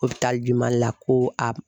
Mali la ko